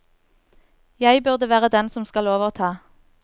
Jeg burde være den som skal overta.